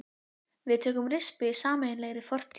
Við tökum rispu í sameiginlegri fortíð.